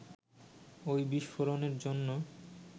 ঐ বিস্ফোরণের জন্য